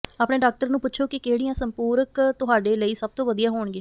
ਆਪਣੇ ਡਾਕਟਰ ਨੂੰ ਪੁੱਛੋ ਕਿ ਕਿਹੜੀਆਂ ਸੰਪੂਰਕ ਤੁਹਾਡੇ ਲਈ ਸਭ ਤੋਂ ਵਧੀਆ ਹੋਣਗੇ